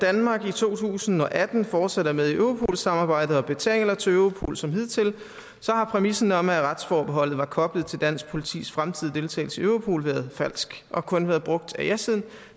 danmark i to tusind og atten fortsat er med i europol samarbejdet og betaler til europol som hidtil så har præmissen om at retsforbeholdet var koblet til dansk politis fremtidige deltagelse i europol været falsk og kun været brugt af jasiden